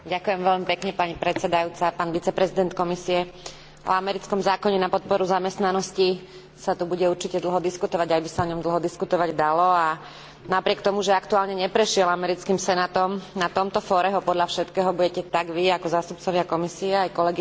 O americkom zákone na podporu zamestnanosti sa tu bude určite dlho diskutovať, aj by sa o ňom dlho diskutovať dalo a napriek tomu, že aktuálne neprešiel americkým senátom, na tomto fóre ho podľa všetkého budete tak vy, ako zástupcovia Komisie, aj kolegyne a kolegovia tu v pléne Európskeho parlamentu